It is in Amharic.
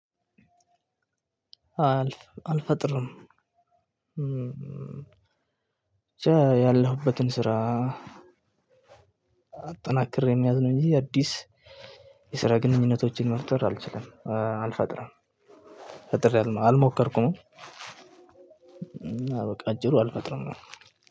አልፈጥርም ብቻ ያለሁበትን ስራ አጠናክሬ መያዝ ነው እንጂ አዲስ የስራ ግንኙነቶችን መፍጠር አልችልም አልፈጥርም። ፈጥሬያለሁ አልሞከርኩም እና በቃ እጅሩ አልፈጥርም።